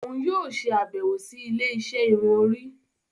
Òún yóò ṣe abẹwo sì ilé-isé irun Orí